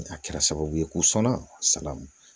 A kɛra sababu ye k'u sɔnna sala